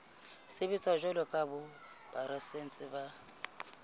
sebetsa jwalo ka borasaense ba